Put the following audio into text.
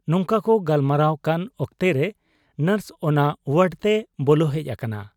ᱱᱚᱝᱠᱟ ᱠᱚ ᱜᱟᱞᱢᱟᱨᱟᱣ ᱠᱟᱱ ᱚᱠᱛᱚᱨᱮ ᱱᱚᱨᱥ ᱚᱱᱟ ᱣᱟᱰᱛᱮᱭ ᱵᱚᱞᱚ ᱦᱮᱡ ᱟᱠᱟᱱᱟ ᱾